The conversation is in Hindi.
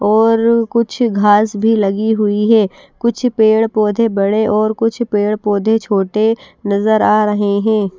और कुछ घास भी लगी हुई है कुछ पेड़ पौधे बड़े और कुछ पेड़ पौधे छोटे नजर आ रहे हैं।